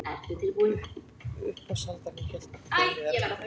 Uppboðshaldarinn hélt þeim við efnið.